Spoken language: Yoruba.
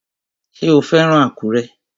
Ṣé o fẹ́ràn Àkúrẹ́?